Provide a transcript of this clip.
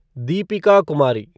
Deepika Kumari